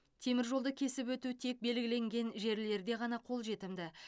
теміржолды кесіп өту тек белгіленген жерлерде ғана қолжетімді